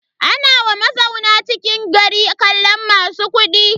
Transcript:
Ana wa mazauna cikin gari kallon masu kuɗi.